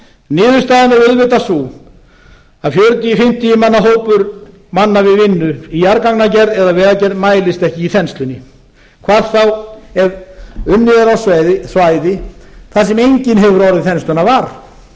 niðurstaðan er auðvitað sú að fjörutíu fimmtíu manna hópur manna við vinnu í jarðgangagerð eða vegagerð mælist ekki í þenslunni hvað þá ef unnið er á svæði þar sem enginn hefur orðið þenslunnar var